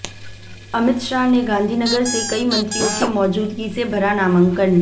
अमित शाह ने गांधीनगर से कई मंत्रियों की मौजूदगी में भरा नामांकन